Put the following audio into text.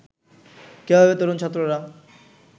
কিভাবে তরুণ ছাত্ররা